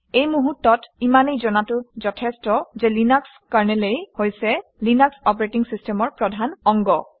এই মুহূৰ্তত ইমানেই জনাটো যথেষ্ট যে লিনাক্স কাৰনেলেই হৈছে লিনাক্স অপাৰেটিং চিচটেমৰ প্ৰধান অংগ